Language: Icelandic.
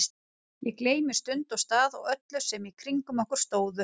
Ég gleymdi stund og stað og öllum sem í kringum okkur stóðu.